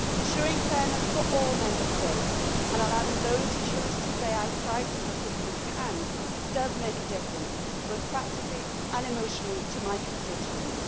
Ensuring fairness for all Member States, and allowing those who choose to do so to stay outside single systems, can and does make a difference both practically and emotionally to my constituents.